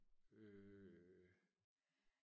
øh